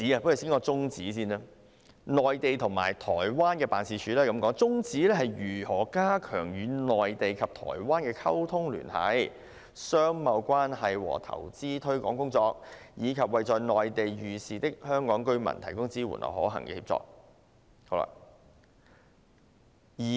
我先談"綱領 3： 內地及台灣辦事處"，其宗旨是加強與內地及台灣的溝通聯繫、商貿關係和投資推廣工作，以及為在內地遇事的香港居民提供支援和可行的協助。